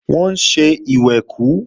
Wọ́n ń ṣe ìwẹ̀kú